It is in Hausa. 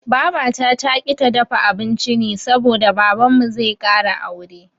Babata taƙi ta dafa abinci ne saboda Babanmu zai ƙara aure.